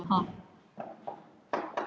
Björt vonin í rödd hennar gerði Lóu órólega.